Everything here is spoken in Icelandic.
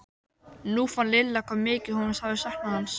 Nú fann Lilla hvað mikið hún hafði saknað hans.